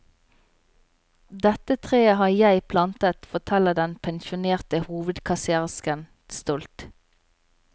Dette treet har jeg plantet, forteller den pensjonerte hovedkasserersken stolt.